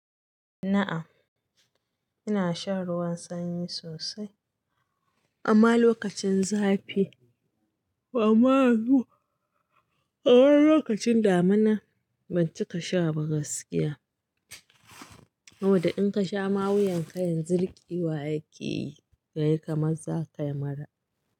Na'am, ina shan ruwan sanyi sosai amma lokacin zafi. Amma lokacin damina ban cika sha ba gaskiya. Saboda in ka sha ma wuyan kayan zanzu rikewa ya ke yi kayi kamar za ka yi mura.